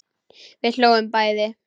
Við hlógum bæði.